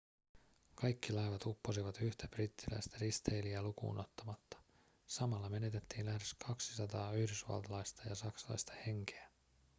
kaikki laivat upposivat yhtä brittiläistä risteilijää lukuun ottamatta samalla menetettiin lähes 200 yhdysvaltalaista ja saksalaista henkeä